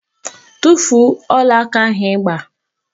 Tufuo ọlaaka ahụ ị gba!